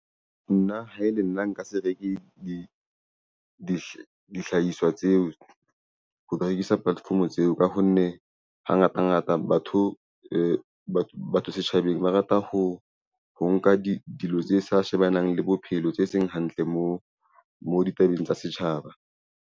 Nna ha e le nna nka se reke dihlahiswa tseo ho rekisa platform-o tseo ka ho nne hangata ngata batho batho setjhabeng ba rata ho nka dilo tse sa shebanang le bophelo tse seng hantle mo ditabeng tsa setjhaba.